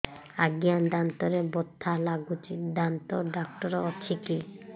ଆଜ୍ଞା ଦାନ୍ତରେ ବଥା ଲାଗୁଚି ଦାନ୍ତ ଡାକ୍ତର ଅଛି କି